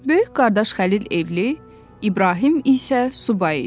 Böyük qardaş Xəlil evli, İbrahim isə subay idi.